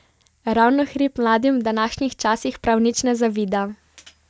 Ravnohrib mladim v današnjih časih prav nič ne zavida.